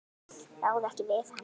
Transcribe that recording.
Ráða ekki við hann.